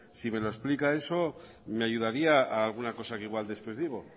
si me lo explica eso me ayudaría a alguna cosa que igual después digo